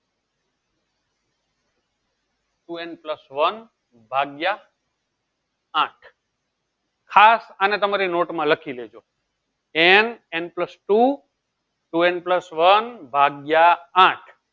two n plus one ભાગ્ય આઠ ખાસ તમારે તમારી નોટ માં લખી દેજો nnplus two town plus two ભાગ્યે આઠ